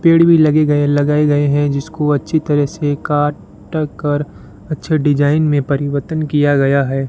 पेड़ भी लगे गए लगाए गए हैं जिसको अच्छी तरह से काट कर अच्छे डिजाइन में परिवर्तन किया गया है।